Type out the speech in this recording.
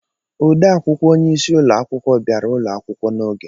Odee akwụkwọ onyeisi ụlọ akwụkwọ bịara ụlọ akwụkwọ n'oge.